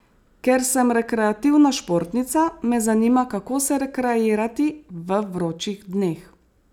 Ker sem rekreativna športnica, me zanima, kako se rekreirati v vročih dneh.